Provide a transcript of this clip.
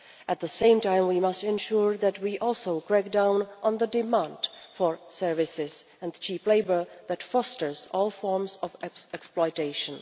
At the same time, we must ensure that we also crack down on the demand for services and cheap labour that fosters all forms of exploitation.